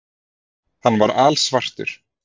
Hann var alsvartur.